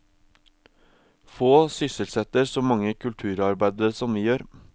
Få sysselsetter så mange kulturarbeidere som vi gjør.